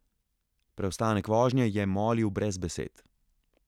Preostanek vožnje je molil brez besed.